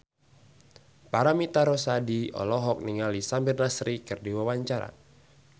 Paramitha Rusady olohok ningali Samir Nasri keur diwawancara